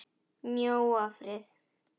Mjóafirði